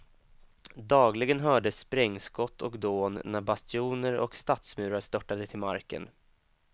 Dagligen hördes sprängskott och dån när bastioner och stadsmurar störtade till marken.